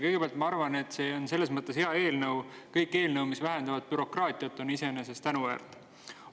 Kõigepealt, ma arvan, et see on selles mõttes hea eelnõu, et kõik eelnõud, mis vähendavad bürokraatiat, on iseenesest tänuväärt.